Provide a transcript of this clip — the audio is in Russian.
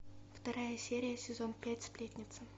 вторая серия сезон пять сплетница